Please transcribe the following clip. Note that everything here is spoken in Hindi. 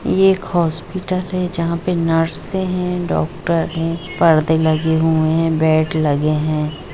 ये एक हॉस्पिटल है जहां पर नर्से हैं डॉक्टर हैं परदे लगे हुए हैं पर बेड लगे हुए हैं।